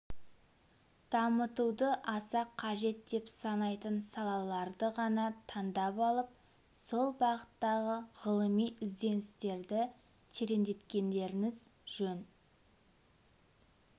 дамытуды аса қажет деп санайтын салаларды ғана таңдап алып сол бағыттағы ғылыми ізденістерді тереңдеткендеріңіз жөн